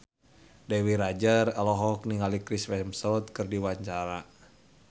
Dewi Rezer olohok ningali Chris Hemsworth keur diwawancara